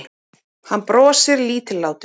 Hann brosir lítillátur.